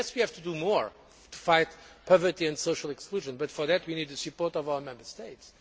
Yes, we have to do more to fight poverty and social exclusion but for that, we need the support of our Member States.